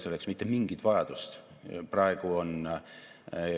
Üks Eesti kõige tuntumaid edulugusid ja visiitkaarte välismaal on meie digiriik ja selle kuvand.